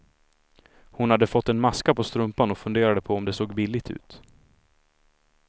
Hon hade fått en maska på strumpan och funderade på om det såg billigt ut.